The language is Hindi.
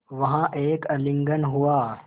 वहाँ एक आलिंगन हुआ